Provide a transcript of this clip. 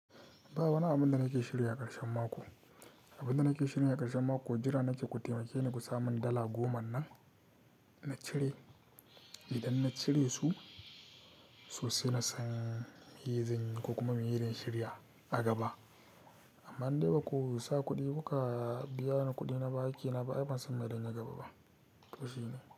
Ba wani abun da nake shirya a karshen mako. Abun da nake shirya a karshen mako jira naje ku taimake ni ku sami dala goma nan na cire. Idan na cire su, su suna son hizan ku kuma mun yi rinshiriya a gaba. Amma in dai baku sa kuɗi ba ka biya ni kuɗina ba, hakina ba abin sanmali na gaba ba to shine.